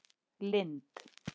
Lind